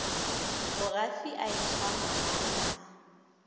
mogafi a etshwa magala a